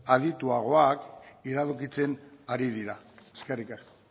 adituagoak iradokitzen ari dira eskerrik asko